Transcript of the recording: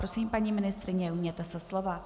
Prosím, paní ministryně, ujměte se slova.